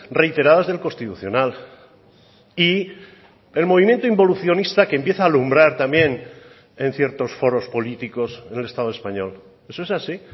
reiteradas del constitucional y el movimiento involucionista que empieza a alumbrar también en ciertos foros políticos en el estado español eso es así